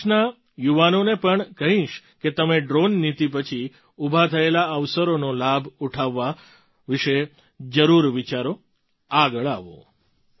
હું દેશના યુવાનોને પણ કહીશ કે તમે ડ્રૉન નીતિ પછી ઊભા થયેલા અવસરોનો લાભ ઉઠાવવા વિશે જરૂર વિચારો આગળ આવો